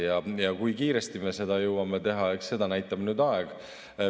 Kui kiiresti me seda jõuame teha, eks seda näitab aeg.